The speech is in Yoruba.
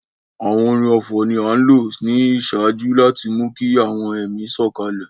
Àwọn orin ọfọ̀ ni a nlo ni iṣaaju láti mú ki àwọn ẹmi sòkalẹ̀